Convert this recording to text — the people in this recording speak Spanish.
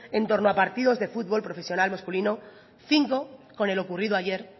en torno a partidos de futbol profesional masculino cinco con el ocurrido ayer